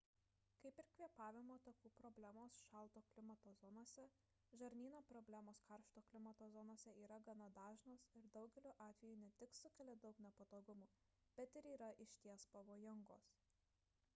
kaip ir kvėpavimo takų problemos šalto klimato zonose žarnyno problemos karšto klimato zonose yra gana dažnos ir daugeliu atvejų ne tik sukelia daug nepatogumų bet ir yra išties pavojingos